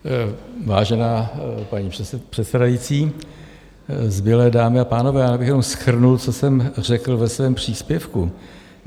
Vážená paní předsedající, zbylé dámy a pánové, já bych jenom shrnul, co jsem řekl ve svém příspěvku.